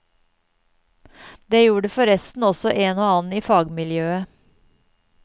Det gjorde forresten også en og annen i fagmiljøet.